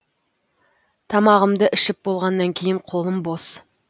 тамағымды ішіп болғаннан кейін қолым бос